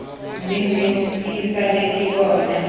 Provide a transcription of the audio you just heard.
mmemme ke sale ke bona